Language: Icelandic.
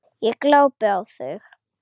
Ég glápi á þau.